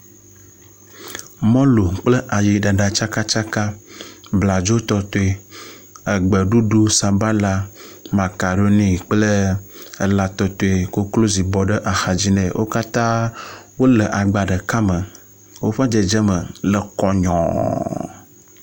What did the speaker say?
Mɔlu kple ayiɖaɖa tsakatsaka, bladzotɔtɔe, egbeɖuɖu, sabala, makaroni kple elãtɔtɔe. Koklozi bɔ ɖe axadzi nɛ wo katã wole agba ɖeka me. Woƒe dzedzeme le kɔnyɔɔɔ.